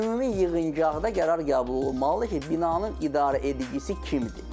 Ümumi yığıncaqda qərar qəbul olunmalıdır ki, binanın idarəedicisi kimdir?